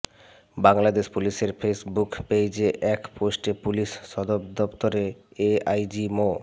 বাংলাদেশ পুলিশের ফেইসবুক পেইজে এক পোস্টে পুলিশ সদরদপ্তরের এআইজি মো